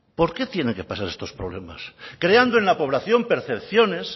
por qué tienen que pasar estos problemas creando en la población percepciones